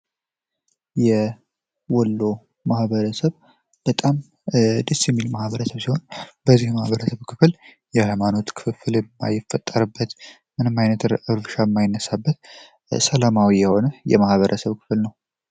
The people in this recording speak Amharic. የወሎ ማህበረሰብ በጣም ደስ ሚል ማህበረሰብ ሲሆን፤ በዚህ ማህበረሰብ ክፍል የሃይማኖት ክፍል የማይፈጠርበት ምንም አይነት ረብሻ ማይነሳበት ሰላማዊ የሆነ የማህበረሰብ ክፍል ነው።